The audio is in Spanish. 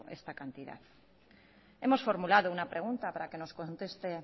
esta cantidad hemos formulado una pregunta para que nos conteste